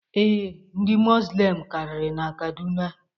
Ee, Ndị muzlim karịrị na Kaduna.